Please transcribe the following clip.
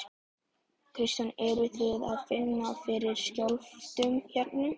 Kristján: Eruð þið að finna fyrir skjálftum hérna?